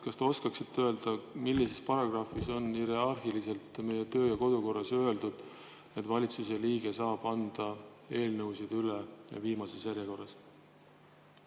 Kas te oskaksite öelda, millises paragrahvis on meie kodu- ja töökorras hierarhiliselt öeldud, et valitsuse liige saab anda eelnõusid üle viimases järjekorras?